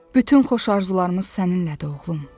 “Bütün xoş arzularımız səninlədi, oğlum.”